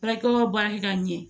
Baarakɛyɔrɔ baarakɛ ka ɲɛ